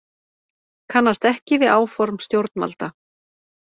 Kannast ekki við áform stjórnvalda